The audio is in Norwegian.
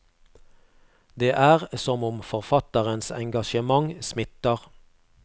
Det er som om forfatterens engasjement smitter.